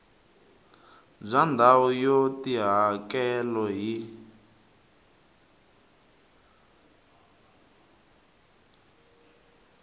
bya ndhawu ya tihakelo hi